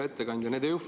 Hea ettekandja!